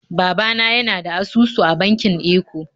Baba na yana da asusu a bankin Eco